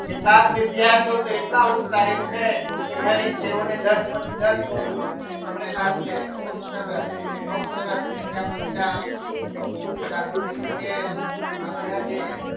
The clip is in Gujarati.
કેટલાક વિદ્યાર્થીઓ તો એટલા ઉત્સાહી છે કે ભાઈ તેઓને દસ માંથી દસ ગુણ મેળવેલા છે ખુબ સરસ ખૂબ સરસ નિત્ય પંચાલ જાગૃતિ પટેલ બધા જે